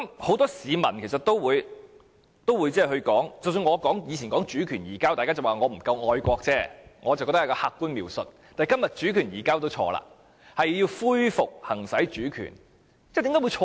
很多市民其實亦說，即使我過去說"主權移交"，大家也只是說我不太愛國而已，但我個人認為這是客觀描述，但今天說"主權移交"也是錯誤的，應該說"恢復行使主權"。